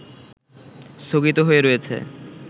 স্থগিত হয়ে রয়েছে